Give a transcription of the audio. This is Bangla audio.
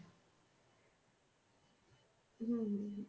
হম হম হম